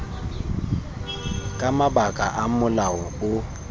ka mabaka a molao o